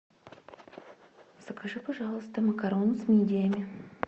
закажи пожалуйста макароны с мидиями